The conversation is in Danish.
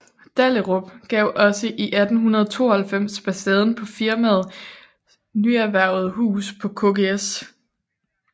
Dahlerup gav også i 1892 facaden på firmaets nyerhvervede hus på Kgs